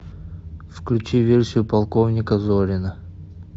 включи версию полковника зорина